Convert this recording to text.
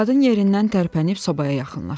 Qadın yerindən tərpənib sobaya yaxınlaşdı.